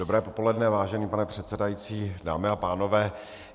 Dobré popoledne, vážený pane předsedající, dámy a pánové.